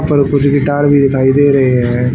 Guitar भी दिखाई दे रहे हैं।